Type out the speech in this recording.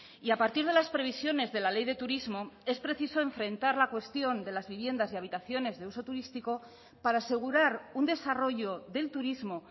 y a partir de las previsiones de la ley de turismo es preciso enfrentar la cuestión de las viviendas y habitaciones de uso turístico para asegurar un desarrollo del turismo